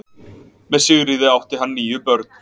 Með Sigríði átti hann níu börn.